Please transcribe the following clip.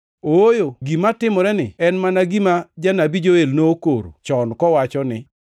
Ooyo, gima timoreni en mana gima Janabi Joel nokoro chon kowacho ni,